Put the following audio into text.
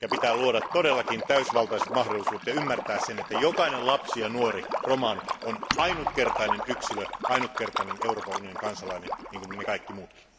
Pitää luoda todellakin täysivaltaiset mahdollisuudet ja ymmärtää se, että jokainen lapsi ja nuori romani on ainutkertainen yksilö, ainutkertainen Euroopan unionin kansalainen niin kuin me kaikki muutkin.